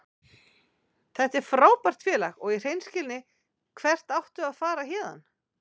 Þetta er frábært félag og í hreinskilni, hvert áttu að fara héðan?